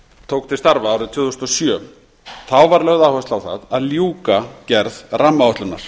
tók til starfa árið tvö þúsund og sjö þá var lögð áhersla á það að ljúka gerð rammaáætlunar